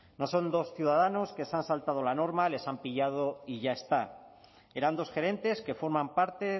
no son dos ciudadanos que se han saltado la norma les han pillado y ya está eran dos gerentes que forman parte